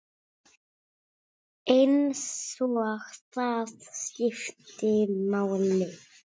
Eins og það skipti máli.